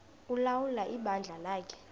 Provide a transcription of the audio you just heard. ulawula ibandla lakhe